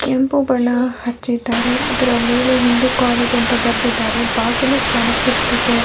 ಕೆಂಪು ಬಣ್ಣ ಹಚ್ಚಿದ್ದಾರೆ ಅದರ ಮೇಲೆ ಹಿಂದೂ ಕಾಲೇಜು ಅಂತ ಬರೆದಿದ್ದಾರೆ ಬಾಗಿಲು ಕಾಣಿಸುತ್ತಿದೆ .